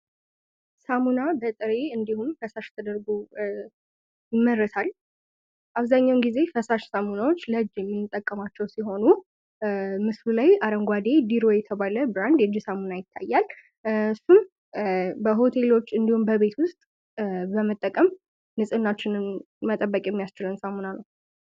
ሳሙና በጥሬ እንዲሁም ከፈሽ ተደርጉ ይመረታል። አብዛኛውን ጊዜ ከፈሽ ሳሙናዎች ለጅ የሚጠቀማቸው ሲሆኑ ምስሉ ላይ አረንጓዴ ዲሮ የተባለ ብራንድ እጅ ሳሙና ይታያል። እሱም በሆቴሎች እንዲሁም በቤት ውስጥ በመጠቀም ንጽህናችን ለመጠበቅ የሚያስችለን ሳሙና ነው።